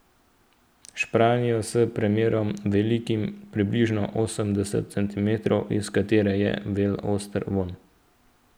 Špranjo s premerom, velikim približno osemdeset centimetrov, iz katere je vel oster vonj.